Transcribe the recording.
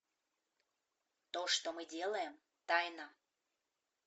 то что мы делаем тайна